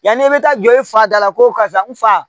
Yanni e bɛ taa jɔ i fa da la ko karisa n fa